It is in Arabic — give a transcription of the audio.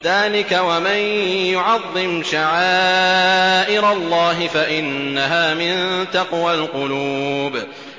ذَٰلِكَ وَمَن يُعَظِّمْ شَعَائِرَ اللَّهِ فَإِنَّهَا مِن تَقْوَى الْقُلُوبِ